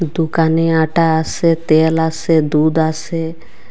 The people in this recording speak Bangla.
দোকানে আটা আসে তেল আসে দুধ আসে।